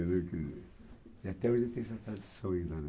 E até hoje tem essa tradição ainda, né.